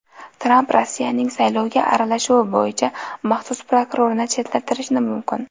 Tramp Rossiyaning saylovga aralashuvi bo‘yicha maxsus prokurorni chetlashtirishi mumkin.